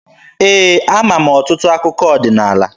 Ee, ama m ọtụtụ akụkọ ọdịnaala.